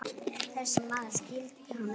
Þessi maður skildi hann ekki.